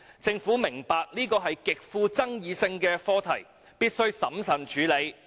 政府明白這是一個極富爭議性的課題，必須審慎處理。